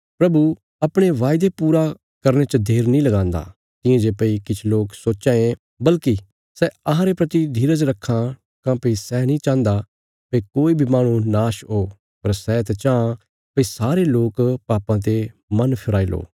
प्रभु अपणे बायदे पूरा करने च देर नीं लगान्दा तियां जे भई किछ लोक सोच्चां ये बल्कि सै अहांरे प्रति धीरज रखां काँह्भई सै नीं चाहन्दा भई कोई बी माह्णु नाश हो पर सै त चांह भई सारे लोक पापां ते मन फिराई लो